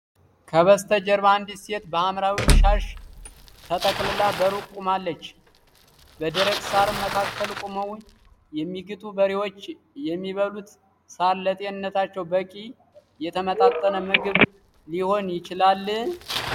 ከበስተጀርባ አንዲት ሴት በሐምራዊ ሻሽ ተጠቅልላ በሩቅ ቆማለች። በደረቅ ሣር መካከል ቆመው የሚግጡት በሬዎች የሚበሉት ሣር ለጤንነታቸው በቂ የተመጣጠነ ምግብ ሊሰጥ ይችላል?